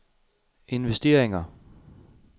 investeringer